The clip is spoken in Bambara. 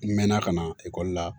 N mɛn na ka na ekɔli la